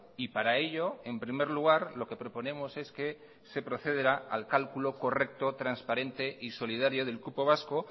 y para ello en primer lugar lo que proponemos es que se procederá al cálculo correcto transparente y solidario del cupo vasco